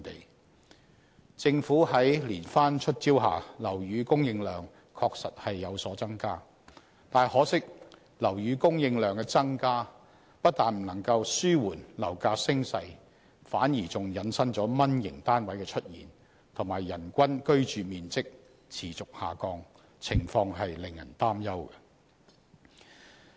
在政府連番"出招"下，樓宇供應量確實有所增加，但很可惜，樓宇供應量增加不但無法紓緩樓價升勢，反而引申"蚊型"單位的出現，以及人均居住面積持續下降，情況令人擔憂。